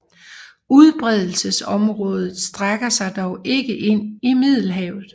Udbredelsesområdet strækker sig dog ikke ind i Middelhavet